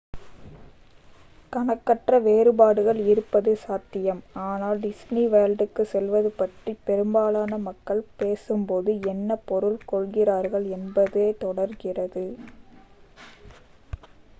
"""கணக்கற்ற வேறுபாடுகள் இருப்பது சாத்தியம் ஆனால் "" டிஸ்னி வேர்ல்டுக்கு செல்வது""" பற்றி பெரும்பாலான மக்கள் பேசும்போது என்ன பொருள் கொள்கிறார்கள் என்பதே தொடர்கிறது.